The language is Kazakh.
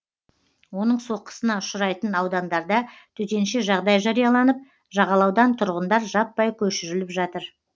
оның соққысына ұшырайтын аудандарда төтенше жағдай жарияланып жағалаудан тұрғындар жаппай көшіріліп жатыр